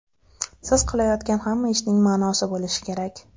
Siz qilayotgan hamma ishning ma’nosi bo‘lishi kerak.